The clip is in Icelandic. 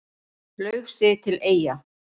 Laug sig til Eyja